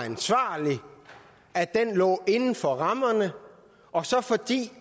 ansvarlig at den lå inden for rammerne og så fordi